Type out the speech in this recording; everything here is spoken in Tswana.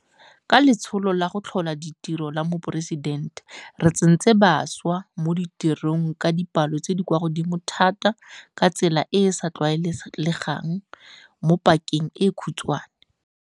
Ka Letsholo la go Tlhola Ditiro la Moporesidente, re tsentse bašwa mo ditirong ka dipalo tse di kwa godimo thata ka tsela e e sa tlwaelegang mo pakeng e khutshwane.